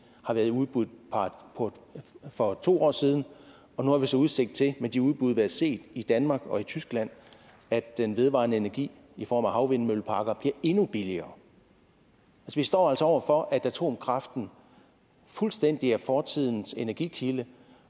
har været i udbud for to år siden og nu har vi så udsigt til med de udbud der set i danmark og i tyskland at den vedvarende energi i form af havvindmølleparker bliver endnu billigere vi står altså over for at atomkraften fuldstændig er fortidens energikilde